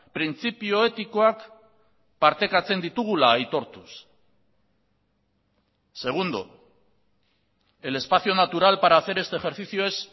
printzipio etikoak partekatzen ditugula aitortuz segundo el espacio natural para hacer este ejercicio es